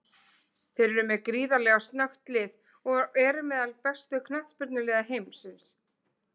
Þeir eru með gríðarlega snöggt lið og eru meðal bestu knattspyrnuliða heimsins.